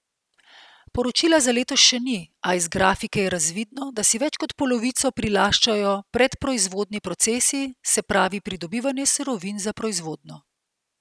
Poročila za letos še ni, a iz grafike je razvidno, da si več kot polovico prilaščajo predproizvodni procesi, se pravi pridobivanje surovin za proizvodnjo.